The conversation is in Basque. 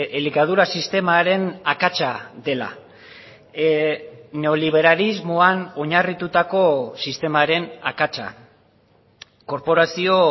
elikadura sistemaren akatsa dela neoliberalismoan oinarritutako sistemaren akatsa korporazio